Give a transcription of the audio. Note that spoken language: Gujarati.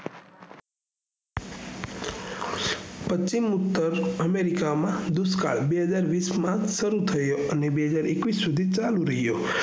પશ્ચિમ ઉતર america માં દુષ્કાળ બેહજાર વીસ માં સારું થયું બેહજાર એકવીસ ચાલુ રહ્યું